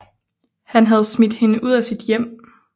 Han havde smidt hende ud af sit hjem